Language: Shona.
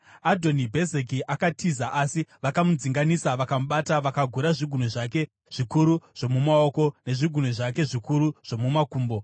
Adhoni Bhezeki akatiza, asi vakamudzinganisa vakamubata, vakagura zvigunwe zvake zvikuru zvomumaoko nezvigunwe zvake zvikuru zvomumakumbo.